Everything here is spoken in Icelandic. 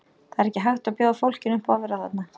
Það er ekki hægt að bjóða fólkinu upp á að vera þarna.